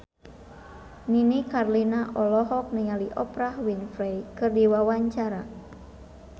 Nini Carlina olohok ningali Oprah Winfrey keur diwawancara